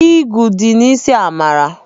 Igwụ dị n'isi Amara.